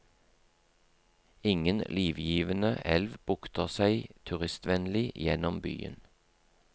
Ingen livgivende elv bukter seg turistvennlig gjennom byen.